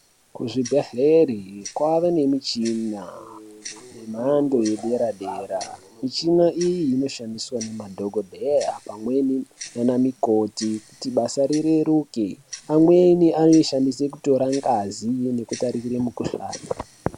Kuzvibhedhlera kwava nemichina yemhando yedera dera. Michina iyi inoshandiswa nemadhokodheya pamweni nanamikoti kuti basa rireruke pamweni anoyishandise kutora ngazi nekutarise mukuhlane.